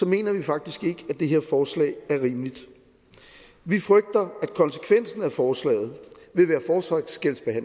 mener vi faktisk ikke at det her forslag er rimeligt vi frygter at konsekvensen af forslaget